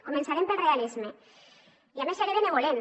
començarem pel realisme i a més seré benevolent